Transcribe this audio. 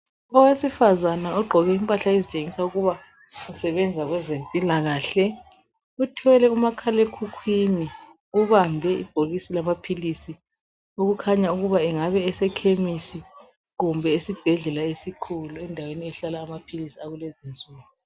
Owesifazane ogqoke impahla ezitshengisela ukuba usebenzise kwezempilakahle uthwele umakhale khukwini ubambe ibhokisi lama philizi okukhanya ukuba engaba esekhemisi kumbe esebhedlela esikhulu endaweni ehlala amaphilizi akulezi insuku